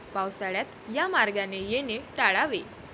पावसाळ्यात या मार्गाने येणे टाळावे.